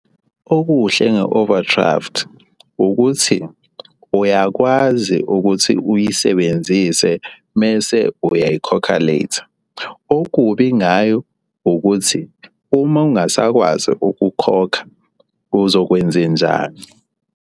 Okuhle nge-overdraft ukuthi uyakwazi ukuthi uyisebenzise mese uyayikhokha later. Okubi ngayo ukuthi uma ungasakwazi ukukhokha uzokwenzenjani.